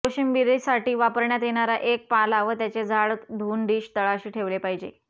कोशिंबिरीसाठी वापरण्यात येणारा एक पाला व त्याचे झाड धुऊन डिश तळाशी ठेवले पाहिजे